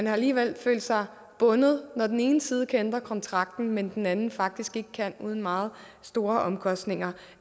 alligevel følt sig bundet når den ene side kan ændre kontrakten men den anden faktisk ikke kan uden meget store omkostninger